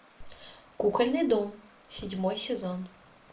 кукольный дом седьмой сезон